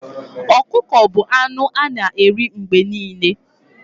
Ọkụkọ bu anụ ana eri mgbe niile